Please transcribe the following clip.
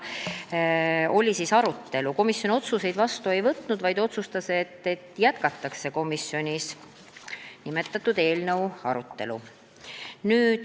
Komisjon otsuseid vastu ei võtnud, lepiti kokku, et jätkatakse nimetatud eelnõu arutelu.